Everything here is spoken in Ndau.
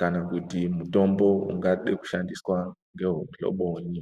kana kuti mutombo ungade kushandiswa ngehwehuhlobonyi.